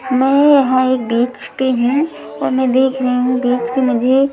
मैं यहां एक बीच पे हूं और मैं देख रही हूं बीच पे मुझे--